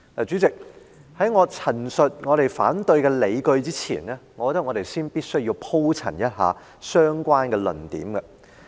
主席，在我陳述我們反對的理據之前，我認為我必須先鋪陳一下相關的論點。